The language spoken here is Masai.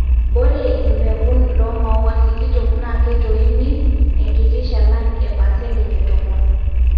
ore imbekun loo maua sikitok naa keitoyini enkiti shalan e paseentej e tomon